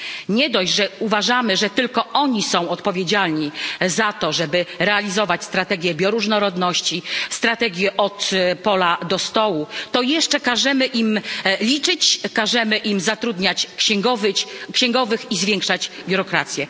Nie dość, że uważamy, że tylko oni są odpowiedzialni za to, żeby realizować strategię bioróżnorodności, strategię od pola do stołu, to jeszcze każemy im liczyć, każemy im zatrudniać księgowych i zwiększać biurokrację.